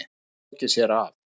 Hann hefur lokið sér af.